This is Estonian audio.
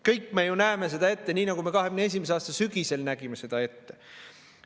Kõik me ju näeme seda ette, nii nagu me 2021. aasta sügisel nägime seda ette.